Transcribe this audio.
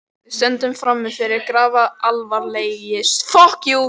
Við stöndum frammi fyrir grafalvarlegri stöðu